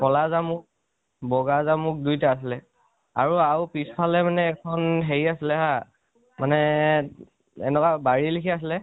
কʼলা জামু, বগা জামু দুইটাই আছিলে। আৰু আৰু পিছফালে মানে আখন হেৰি আছিলে আ মানে এনেকুৱা বাঢ়ি লেখিয়া আছিলে